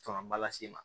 Camanba lase i ma